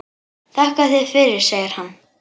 Þakka þér fyrir, segir hann.